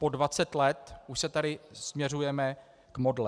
Po 20 let už se tady směřujeme k modle.